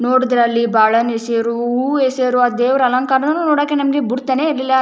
ನೋಡಿದ್ರೆ ಅಲ್ಲಿ ಬಾಳೆಹಣ್ಣು ಎಸೆಯೋರು ಎಸೆಯೋರು ಆ ದೇವರ ಅಲಂಕಾರ ನೋಡಕ್ಕೂ ನಮಗೆ ಬಿಡ್ತಾನೆ ಇರ್ಲಿಲ್ಲ.